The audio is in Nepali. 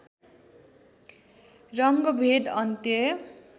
रङ्गभेद अन्त्य